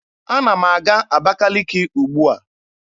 Ana m aga Abakaliki ugbua.